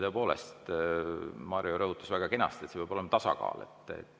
Tõepoolest, Mario rõhutas väga kenasti, et peab olema tasakaal.